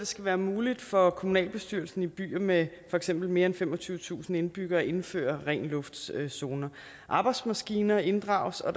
skal være muligt for kommunalbestyrelsen i byer med for eksempel mere femogtyvetusind indbyggere at indføre ren luft zoner zoner arbejdsmaskiner inddrages og